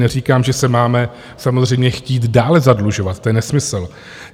Neříkám, že se máme samozřejmě chtít dále zadlužovat, to je nesmysl.